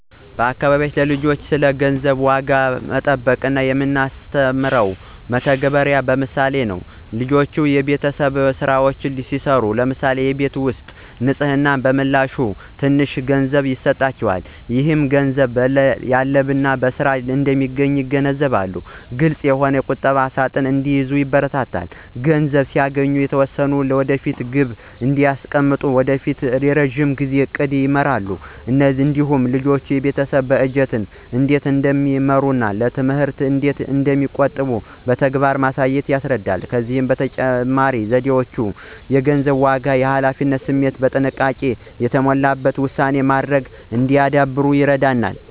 በአካባቢያችን ለልጆች ስለ ገንዘብ ዋጋና ቁጠባ የምናስተምረው በተግባርና በምሳሌ ነው። ልጆች የቤተሰብ ሥራዎችን ሲሠሩ (ለምሳሌ የቤት ውስጥ ንፅህና) በምላሹ ትንሽ ገንዘብ ይሰጣቸዋል። ይህ ገንዘብ በላብና በሥራ እንደሚገኝ ያስገነዝባል። ግልፅ የሆነ ቁጠባ ሣጥን እንዲይዙ ይበረታታሉ። ገንዘብ ሲያገኙ የተወሰነውን ለወደፊት ግብ እንዲያስቀምጡ በማድረግ የረዥም ጊዜ ዕቅድን ይማራሉ። እንዲሁም ወላጆች የቤተሰብ በጀትን እንዴት እንደሚመሩና ለትምህርት እንዴት እንደሚቆጥቡ በተግባር በማሳየት ያስረዳሉ። እነዚህ ዘዴዎች ልጆች የገንዘብን ዋጋ፣ የኃላፊነት ስሜትና ጥንቃቄ የተሞላበት ውሳኔ ማድረግ እንዲያዳብሩ ይረዳሉ።